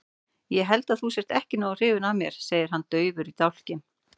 Ég held að þú sért ekki nógu hrifin af mér, segir hann daufur í dálkinn.